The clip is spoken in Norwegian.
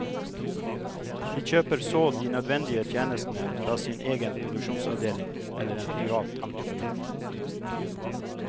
De kjøper så de nødvendige tjenestene fra sin egen produksjonsavdeling eller en privat entreprenør.